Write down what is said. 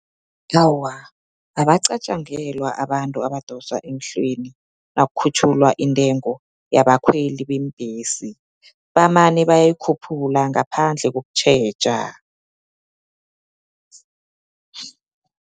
Awa, abaqatjangelwa abantu abadosa emhlweni, nakhutjhulwa intengo yabakhweli beembhesi, bamane bayayikhuphula ngaphandle kokutjheja.